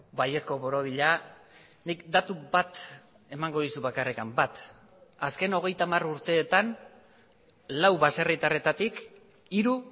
baiezko borobila nik datu bat emango dizut bakarrik bat azken hogeita hamar urteetan lau baserritarretatik hiru